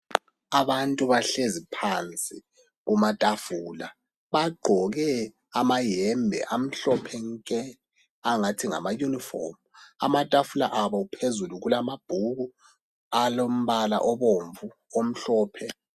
Abantu bahlezi phansi kumatafula. Bagqoke amayembe amhlophe nke, angathi ngamayunifomu. Amatafula abo phezulu, kulamabhuku alombala obomvu, omhlophe ...